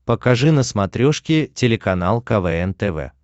покажи на смотрешке телеканал квн тв